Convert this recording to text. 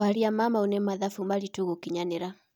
Kwaria ma mau nĩ mathabu maritũ gũkinyanĩ ra.